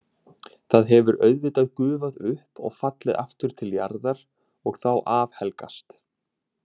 Það hefur auðvitað gufað upp og fallið aftur til jarðar og þá afhelgast.